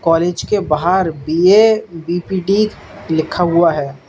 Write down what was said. College के बाहर B A B P D लिखा हुआ है।